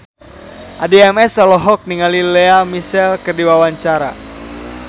Addie MS olohok ningali Lea Michele keur diwawancara